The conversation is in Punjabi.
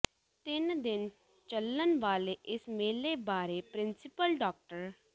ਤਿੰਨ ਦਿਨ ਚੱਲਣ ਵਾਲੇ ਇਸ ਮੇਲੇ ਬਾਰੇ ਪ੍ਰਿੰਸੀਪਲ ਡਾ